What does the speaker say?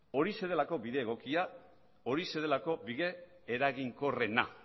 horixe delako bide egokia eta horixe delako bide eraginkorrena